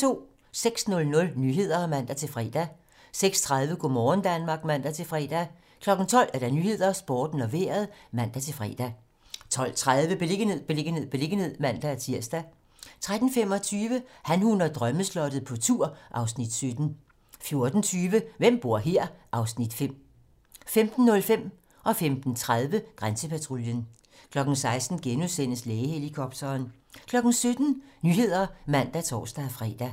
06:00: Nyhederne (man-fre) 06:30: Go' morgen Danmark (man-fre) 12:00: 12 Nyhederne, Sporten og Vejret (man-fre) 12:35: Beliggenhed, beliggenhed, beliggenhed (man-tir) 13:25: Han, hun og drømmeslottet - på tur (Afs. 17) 14:20: Hvem bor her? (Afs. 5) 15:05: Grænsepatruljen 15:30: Grænsepatruljen 16:00: Lægehelikopteren * 17:00: 17 Nyhederne (man og tor-fre)